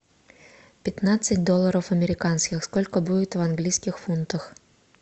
пятнадцать долларов американских сколько будет в английских фунтах